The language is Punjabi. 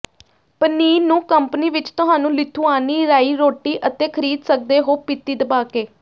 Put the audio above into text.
ਪਨੀਰ ਨੂੰ ਕੰਪਨੀ ਵਿੱਚ ਤੁਹਾਨੂੰ ਲਿਥੁਆਨੀ ਰਾਈ ਰੋਟੀ ਅਤੇ ਖਰੀਦ ਸਕਦੇ ਹੋ ਪੀਤੀ ਦਬਾਕੇ